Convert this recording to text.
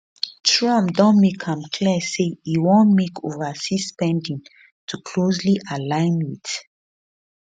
trump don make am clear say e want make overseas spending to closely align wit